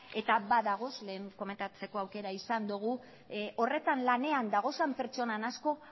eta badaude lehen komentatzeko aukera izan dugu horretan lanean dauden pertsona asko